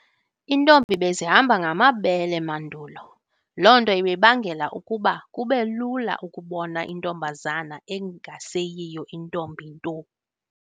Intombi bezihamba ngamabele mandulo. Lonto ibibangela ukuba kubelula ukubona intombazana engaseyiyo intombi nto.